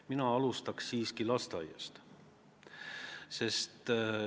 Mina alustaks siiski lasteaiast.